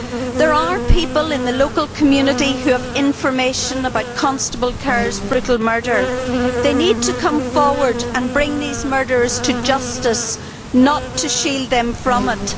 There are people in the local community who have information about Constable Kerr's brutal murder. They need to come forward and bring these murderers to justice, not shield them from it.